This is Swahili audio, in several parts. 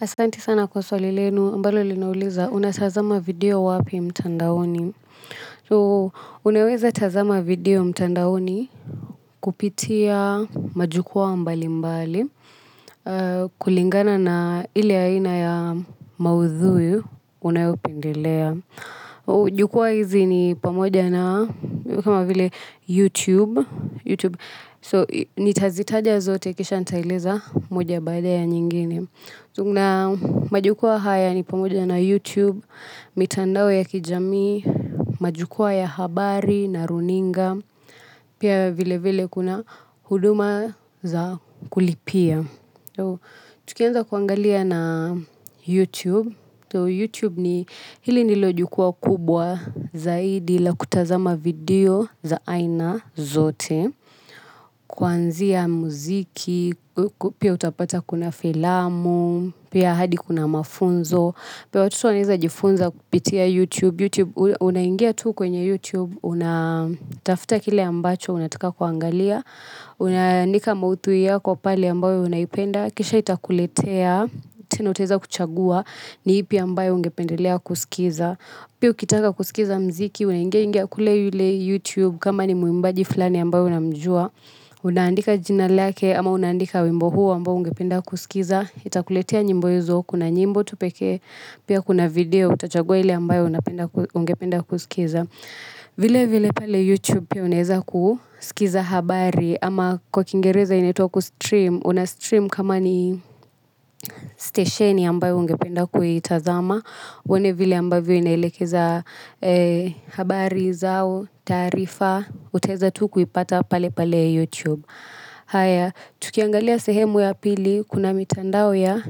Asanti sana kwa swali lenu ambalo linauliza unatazama video wapi mtandaoni. So unaweza tazama video mtandaoni kupitia majukua mbali mbali. Kulingana na ile aina ya maudhui unayopendelea. Jukua hizi ni pamoja na kama vile YouTube. So nitazitaja zote kisha nitaeleza moja baada ya nyingine. So kuna majukwa haya ni pamoja na youtube mitandao ya kijamii majukwa ya habari na runinga pia vile vile kuna huduma za kulipia. So, tukianza kuangalia na YouTube, so YouTube ni hili nilo jukwa kubwa zaidi la kutazama video za aina zote, kuanzia muziki, pia utapata kuna filamu, pia hadi kuna mafunzo pia watoto wanaeza jifunza kupitia YouTube, YouTube unangia tu kwenye YouTube, unatafuta kile ambacho unataka kuangalia, unaandika maudhui yako pale ambayo unaipenda, kisha itakuletea, tena utaeza kuchagua, ni ipi ambayo ungependelea kusikiza. Pia ukitaka kuskiza mziki unaingia youtube kama ni muimbaji flani ambaye unamjua unaandika jina lake ama unaandika wimbo huo ambao ungependa kuskiza itakuletea nyimbo hizo kuna nyimbo tu pekee pia kuna video utachanua ile amabayo ungependa kuskiza vile vile pale YouTube pia unaeza kuskiza habari ama kwa kingereza inaitwa kustream una stream kama ni stesheni ambayo ungependa kuitazama uone vile ambavyo inaelekeza habari zao, taarifa. Utaeza tu kuipata pale pale YouTube. Haya, tukiangalia sehemu ya pili kuna mitandao ya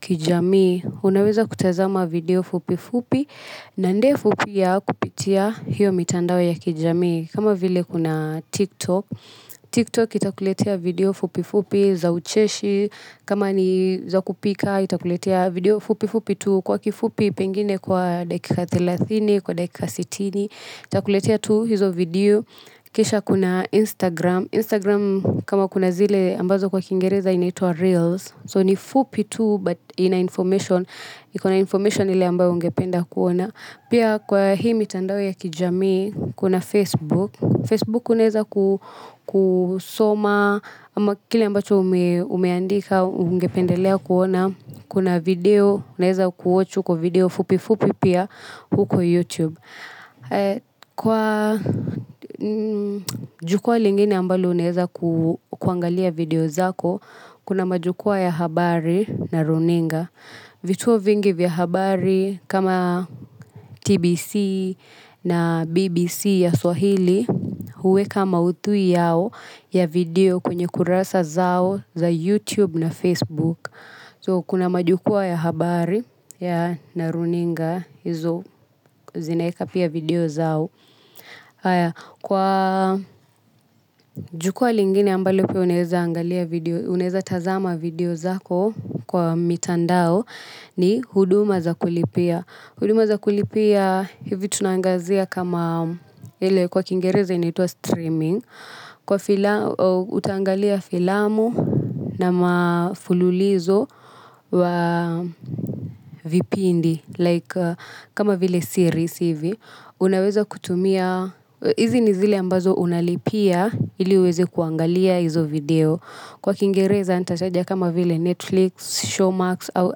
kijamii unaweza kutazama video fupi fupi na ndefu pia kupitia hio mitandao ya kijamii kama vile kuna TikTok, TikTok itakuletea video fupi fupi za ucheshi kama ni za kupika itakuletea video fupi fupi tu kwa kifupi pengine kwa dakika thelathini kwa dakika sitini itakuletea tu hizo video kisha kuna Instagram, Instagram kama kuna zile ambazo kwa kingereza inaitwa Reels. So ni fupi tu but ina information, iko na information ile ambayo ungependa kuona. Pia kwa hii mitandao ya kijamii, kuna Facebook, Facebook unaeza kusoma ama kile ambacho umeandika ungependelea kuona. Kuna video unaeza kuwatch huko video fupi fupi pia huko youtube kwa jukwa lingine ambalo unaeza kuangalia video zako kuna majukwa ya habari na runinga vituo vingi vya habari kama TBC na BBC ya Swahili. Huweka maudhui yao ya video kwenye kurasa zao za YouTube na Facebook. So kuna majukwa ya habari ya na runinga hizo zinaeka pia video zao. Kwa jukwa lingine ambalo pia unaeza tazama video zako kwa mitandao ni huduma za kulipia huduma za kulipia hivi tunaangazia kama ile kwa kingereza inaitwa streaming. Kwa filamu, utaangalia filamu na mafululizo wa vipindi like kama vile series hivi unaweza kutumia, hizi ni zile ambazo unalipia ili uweze kuangalia hizo video kwa kingereza nitataja kama vile Netflix, Showmarks au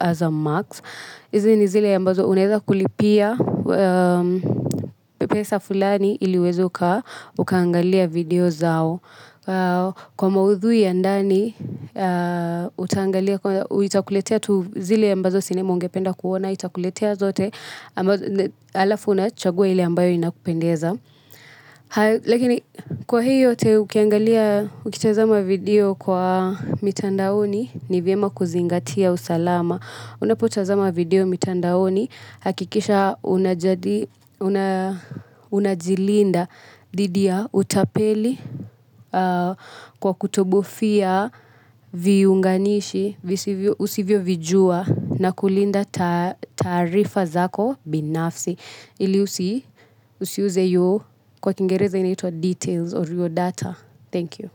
Azamaks. Hizi ni zile ambazo unaeza kulipia, pesa fulani ili uweze ukaangalia video zao. Kwa maudhui ya ndani, utaangalia, itakuletea tu zile ambazo sinema ungependa kuona, itakuletea zote, alafu unachagua ile ambayo inakupendeza. Lakini kwa hii yote ukiangalia ukitazama video kwa mitandaoni ni vyema kuzingatia usalama. Unapotazama video mitandaoni hakikisha unajilinda dhidi ya utapeli kwa kutobofia viunganishi usivyo vijua na kulinda taarifa zako binafsi. Ili usiuze your, kwa kingereza inaitwa details or your data. Thank you.